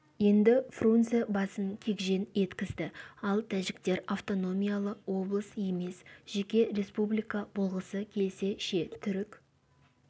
енді фрунзе басын кегжең еткізді ал тәжіктер автономиялы облыс емес жеке республика болғысы келсе ше түрік